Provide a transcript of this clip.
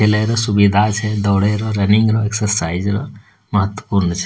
खेले ले सुविधा छै दौड़े ले रनिंग र एक्सरसाइज र महत्वपूर्ण छै।